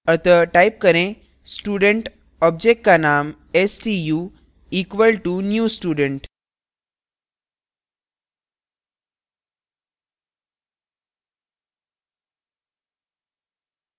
अतः type करें student object का name stu equal to new student